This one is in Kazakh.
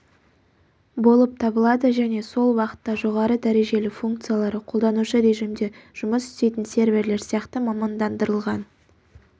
болып табылады және сол уақытта жоғары дәрежелі функциялары қолданушы режимде жұмыс істейтін серверлер сияқты мамандандырылған